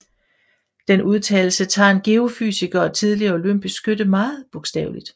Den udtalelse tager en geofysiker og tidligere olympisk skytte meget bogstaveligt